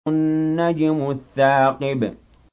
النَّجْمُ الثَّاقِبُ